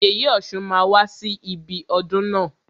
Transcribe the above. Yèyè ọ̀ṣun máa wá sí ibi ọdún na.